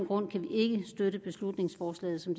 grunde kan vi ikke støtte beslutningsforslaget som